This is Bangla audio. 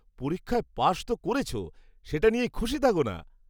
পরীক্ষায় পাশ তো করেছো, সেটা নিয়েই খুশি থাকো না।